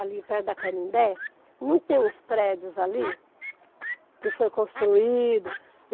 ali perto da Canindé, não tem uns prédios ali que foi construído?